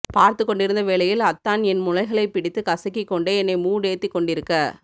பார்த்துக்கொண்டிருந்த வேலையில் அத்தான் என் முழைகளை பிடித்து கசக்கி கொண்டே என்னை மூட் ஏத்தி கொண்டிருக்க